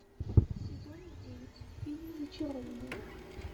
сезон девять фильм зачарованные